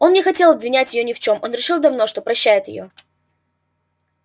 он не хотел обвинять её ни в чём он решил давно что прощает её